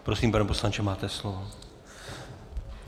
Prosím, pane poslanče, máte slovo.